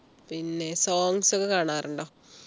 പിന്നെ songs ഒക്കെ കാണാറുണ്ടോ